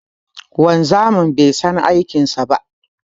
Wanzamin bai san aikin sa ba.